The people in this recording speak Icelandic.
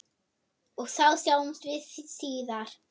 Og þá sjáumst við síðar!